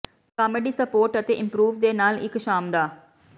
comedy spot ਅਤੇ improv ਦੇ ਨਾਲ ਇਕ ਸ਼ਾਮ ਦਾ